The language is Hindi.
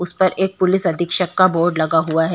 उस पर एक पुलिस अधीक्षक का बोर्ड लगा हुआ हैं।